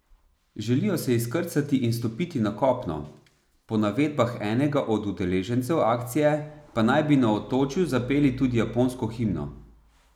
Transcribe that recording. Želijo se izkrcati in stopiti na kopno, po navedbah enega od udeležencev akcije pa naj bi na otočju zapeli tudi japonsko himno.